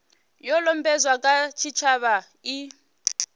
yo lambedzwaho nga tshitshavha i